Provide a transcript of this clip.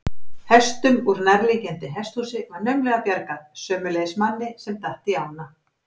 Hestum úr nærliggjandi hesthúsi var naumlega bjargað, sömuleiðis manni sem datt í ána.